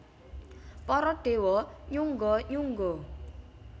Para déwa nyungga nyungga